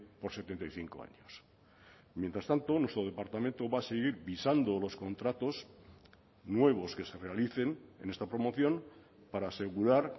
por setenta y cinco años mientras tanto nuestro departamento va a seguir visando los contratos nuevos que se realicen en esta promoción para asegurar